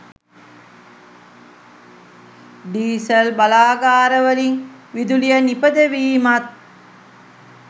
diesel බලාගාරවලින් විදුලිය නිපදවීමත්